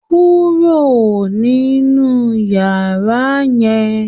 Kúrò nínú yàrá yẹn